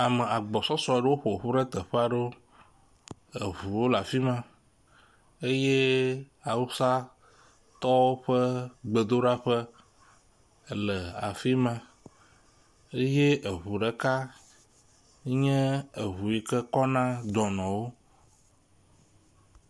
Ame agbɔsɔsɔ ewo ƒoƒu ɖe teƒe aɖewo. Eŋuwo le afi ma eye awusatɔwo ƒe gbedoɖaƒe ele afi ma eye eŋu ɖeka nye eŋu yi ke kɔna dɔnɔwo.